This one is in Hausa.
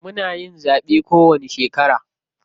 Muna yin zaɓe kowanni shekara.